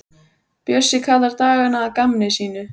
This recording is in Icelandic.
Bjössi kallar dagana að gamni sínu.